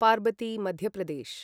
Parvati Madhya Pradesh